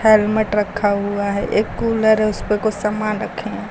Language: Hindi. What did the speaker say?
हेल्मेट रखा हुआ है एक कूलर है उस पर कुछ सामान रखें हैं।